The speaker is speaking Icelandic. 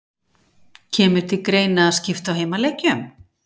Kemur til greina að skipta á heimaleikjum?